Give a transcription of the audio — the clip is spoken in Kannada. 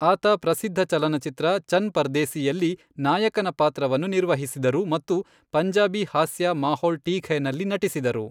ಆತ ಪ್ರಸಿದ್ಧ ಚಲನಚಿತ್ರ ಚನ್ ಪರ್ದೇಸಿಯಲ್ಲಿ, ನಾಯಕನ ಪಾತ್ರವನ್ನು ನಿರ್ವಹಿಸಿದರು ಮತ್ತು ಪಂಜಾಬಿ ಹಾಸ್ಯ , ಮಾಹೋಲ್ ಠೀಕ್ ಹೈ, ನಲ್ಲಿ ನಟಿಸಿದರು.